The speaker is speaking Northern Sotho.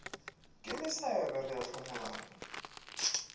ke mesebe re a hlomolana